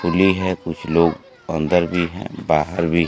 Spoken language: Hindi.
खुली है कुछ लोग अंदर भी हैं बाहर भी--